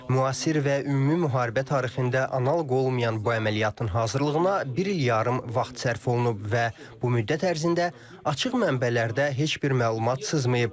Müasir və ümumi müharibə tarixində analoq olmayan bu əməliyyatın hazırlığına bir il yarım vaxt sərf olunub və bu müddət ərzində açıq mənbələrdə heç bir məlumat sızmayıb.